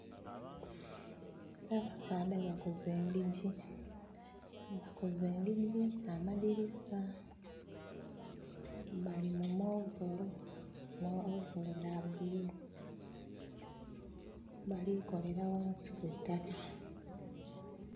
Abasaadha bakoze ndhijji, bakoze endijji, amadirisa. Bali mu ovolo. Mu ovolo dha bululu. Bali kolera ghansi ku itaka